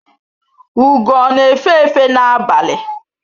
Ugo ọ na efe efe na-abalị?